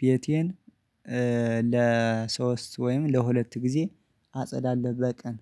ቤቴን ለሶስት ወይም ለሁለት ጊዜ አጸዳለሁ በቀን